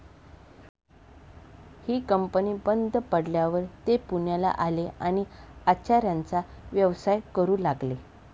ही company बंद पडल्यावर ते पुण्याला आले आणि आचाऱ्याचा व्यवसाय करू लागले.